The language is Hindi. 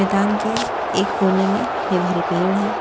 मैदान के एक कोने में हरे भरे पेड़ है।